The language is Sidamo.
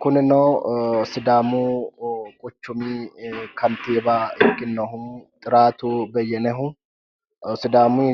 Kunino sidaamu quchumi kantiiwa ikkinohu xiraatu beyyenehu sidaamu